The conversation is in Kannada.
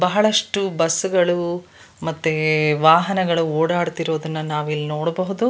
ಬಹಳಷ್ಟು ಬಸ್ ಗಳು ಮತ್ತೆ ವಾಹನಗಳು ಓಡಾಡುತ್ತಿರುವುದನ್ನು ನಾವಿಲ್ಲಿ ನೋಡಬಹುದು.